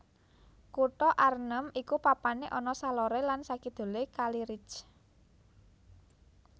Kutha Arnhem iku papané ana saloré lan sakidulé kali Rijn